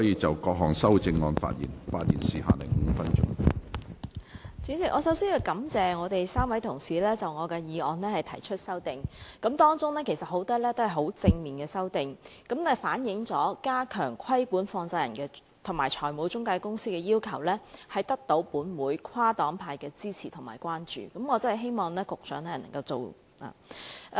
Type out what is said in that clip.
主席，我首先感謝3位同事就我的議案提出修正案，當中不少是正面的修訂，反映了加強規管放債人及財務中介公司的要求得到本會跨黨派的支持和關注，我確實希望局長可以推行。